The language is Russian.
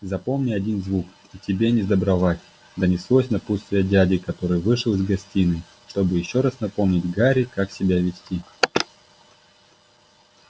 запомни один звук и тебе несдобровать донеслось напутствие дяди который вышел из гостиной чтобы ещё раз напомнить гарри как себя вести